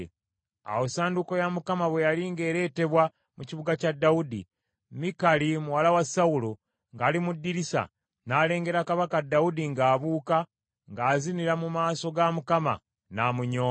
Awo essanduuko ya Mukama bwe yali ng’ereetebwa mu kibuga kya Dawudi, Mikali muwala wa Sawulo, ng’ali mu ddirisa, n’alengera kabaka Dawudi ng’abuuka, ng’azinira mu maaso ga Mukama , n’amunyooma.